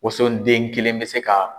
Wonso den kelen bɛ se ka.